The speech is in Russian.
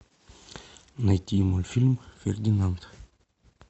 найти мультфильм фердинанд